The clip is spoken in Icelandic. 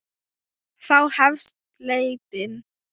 Þá hefst leitin.